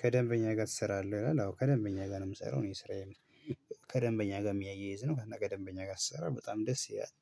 ከደንበኛህ ጋር ትሰራለህ? ይላል። አዎ ከደንበኛየ ጋር ነው የምሰራው። እኔ ስራዬም ከደንበኛ ጋር የሚያያይዝ ነው። ከደንበኛ ጋር ስሰራ በጣም ደስ ይላል።